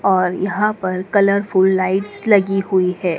और यहां पर कलरफुल लाइट्स लगी हुई है।